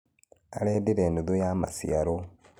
Arendirie nuthu ya maciarwo